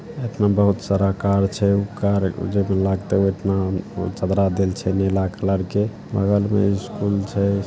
बहुत सारा कार छै। ऊ कार जे लागते ओतना चदरा देल छै नीला कलर के बगल में स्कूल छै।